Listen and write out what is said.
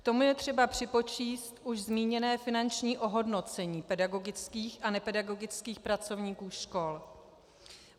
K tomu je třeba připočíst už zmíněné finanční ohodnocení pedagogických a nepedagogických pracovníků škol.